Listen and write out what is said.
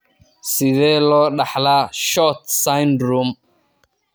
Sidee loo dhaxlaa SHORT syndrome?